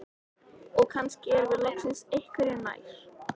Og kannski erum við loksins einhverju nær.